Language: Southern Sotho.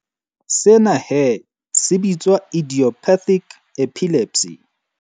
Sena he se bitswa idiopathic epilepsy.